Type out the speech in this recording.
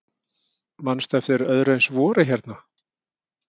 Manstu eftir öðru eins vori hérna?